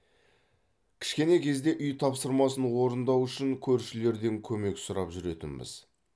кішкене кезде үй тапсырмасын орындау үшін көршілерден көмек сұрап жүретінбіз